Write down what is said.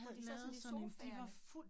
Hvor de sad sådan sofaerne